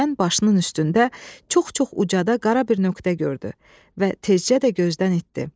Birdən başının üstündə çox-çox ucada qara bir nöqtə gördü və tezcə də gözdən itdi.